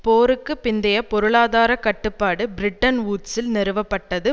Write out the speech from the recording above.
போருக்கு பிந்தைய பொருளாதார கட்டுப்பாடு பிரெட்டன் வூட்ஸில் நிறுவப்பட்டது